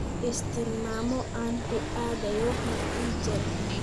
i sii tilmaamo aan ku aadayo Meijer